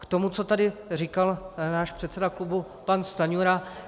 K tomu, co tady říkal náš předseda klubu pan Stanjura.